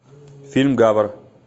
фильм гавр